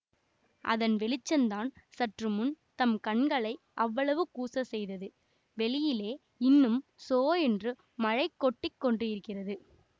அதன் வெளிச்சந்தான் சற்று முன் தம் கண்களை அவ்வளவு கூசச் செய்தது வெளியிலே இன்னும் சோ என்று மழை கொட்டி கொண்டிருக்கிறது